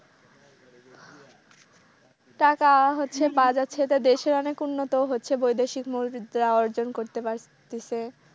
টাকা হচ্ছে পাওয়া যাচ্ছে এতে দেশে অনেক উন্নত হচ্ছে বৈদেশিক মৌ বিদ্যা অর্জন করতে পারতাছে।